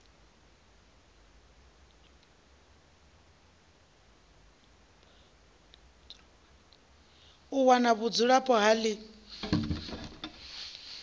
u wana vhudzulapo ha ḽi